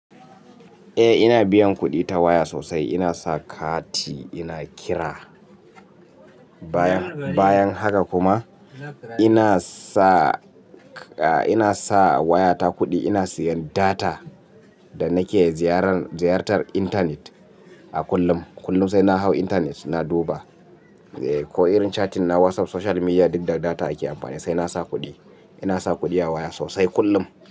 Eh ina biyan kuɗi ta waya sosai. Ina sa kati, ina kira. Bayan haka kuma ina sa waya ta kuɗi ina siyan data da nake ziyartar intanet a kullum. Kullum sai na hau intanet na duba ko irin shatin na WhatsApp, social media duk da data ake amfani sai nasa kuɗi. Ina sa kuɗi a waya sosai kullum.